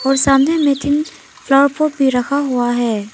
और सामने में तीन फ्लावर पॉट भी रखा हुआ है।